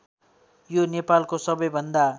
यो नेपालको सबैभन्दा